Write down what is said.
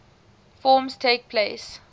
forms takes place